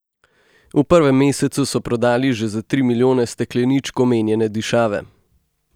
V prvem mesecu so prodali že za tri milijone stekleničk omenjene dišave.